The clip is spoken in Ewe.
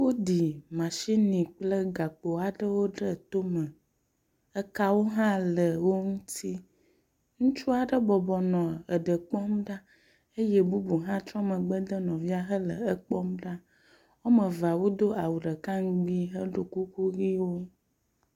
Wóɖì machini kple gakpo aɖewo ɖe tóme ekawo hã le woŋuti ŋutsuaɖe bɔbɔnɔ eɖe kpɔm ɖa eye bubu ha trɔ megbe de nɔvia hele ekpɔm ɖa woamevea wodó awu ɖeka ŋgbi heɖó kuku yiwo